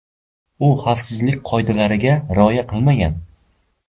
U xavfsizlik qoidalariga rioya qilmagan.